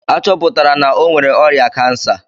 A chọpụtara na o nwere ọrịa kansa?